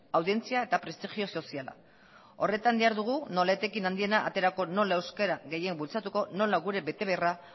audientzia eta prestigio soziala horretan dihardugu nola etekin handiena aterako nola euskera gehien bultzatuko nola gure betebeharra